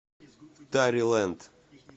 тари лэнд